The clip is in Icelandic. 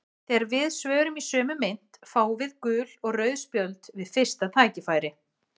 Þegar við svörum í sömu mynt fáum við gul og rauð spjöld við fyrsta tækifæri.